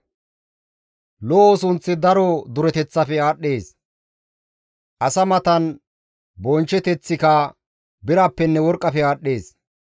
Lo7o sunththi daro dureteththafe aadhdhees; asa matan bonchcheteththika birappenne worqqafe aadhdhees.